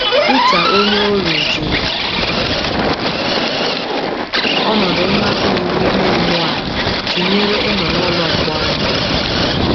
Pita onyeoru ji ọnọdụ mmapụ iwu ime mmụọ a tụnyere ịnọ “ n’ụlọ mkpọrọ. ”